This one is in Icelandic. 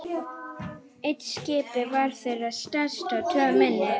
Eitt skipið var þeirra stærst og tvö minni.